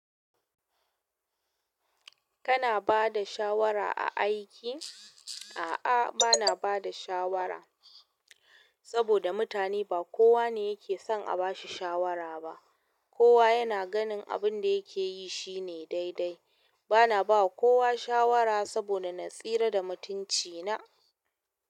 Kana ba da shawara a aiki? A'a bana bada shawara saboda mutane ba kowa ne yake son a bashi shawara ba. Kowa yana ganin abin da yake yi shine daidai. Ba na ba kowa shawara saboda natsira da mutunci na.